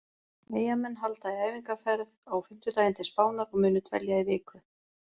Eyjamenn halda í æfingaferð á fimmtudaginn til Spánar og munu dvelja í viku.